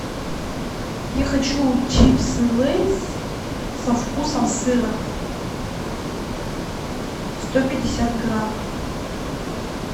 я хочу чипсы лейс со вкусом сыра сто пятьдесят грамм